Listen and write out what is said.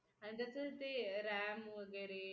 आणि जसं ते ram वगैरे